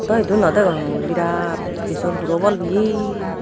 ado idu no degong mui biraat stition puro bol peye.